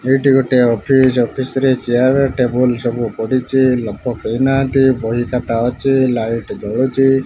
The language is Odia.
ଏଇଟି ଗୋଟେ ଅଫିସ୍ ଅଫିସରେ ଚିଆର୍ ଟେବୁଲ୍ ସବୁ ପଡ଼ିଚି ଲୋକ କେହି ନାହାନ୍ତି। ବହିଖାତା ଅଛି ଲାଇଟ୍ ଜଳୁଚି।